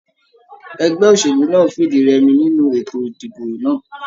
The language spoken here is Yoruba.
Ẹgbẹ́ òṣèlú náà fìdírẹmi nínú ètò ìdìbò náà.